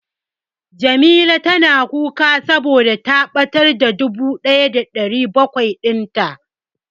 Jamila na kuka saboda ta ɓatar da dubu ɗaya da ɗari bakwai din ta.